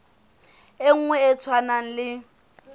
e nngwe e tshwanang le